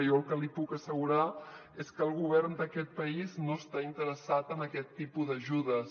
jo el que li puc assegurar és que el govern d’aquest país no està interessat en aquest tipus d’ajudes